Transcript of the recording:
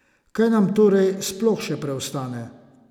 Kaj nam torej sploh še preostane?